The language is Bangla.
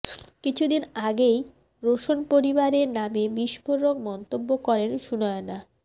কিছুদিন আগেই রোশন পরিবারের নামে বিস্ফোরক মন্তব্য করেন সুনয়না